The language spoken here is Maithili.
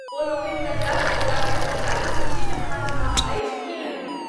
ओलोकनि तकरा सत्यापित करताह जे सूचीमे अहाँक नाम अछि कि नहि।